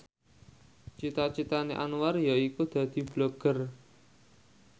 cita citane Anwar yaiku dadi Blogger